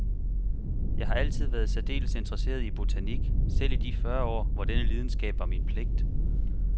Jeg har altid været særdeles interesseret i botanik, selv i de fyrre år, hvor denne lidenskab var min pligt.